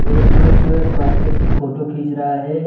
एक पुरुष जो है एक मार्केट की फोटो खींच रहा है।